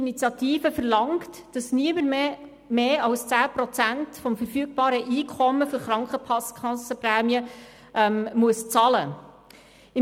Sie verlangt, dass niemand mehr als 10 Prozent des verfügbaren Einkommens für Krankenkassenprämien bezahlen muss.